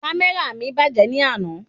Kámẹ́rà mi bàjẹ́ ni àná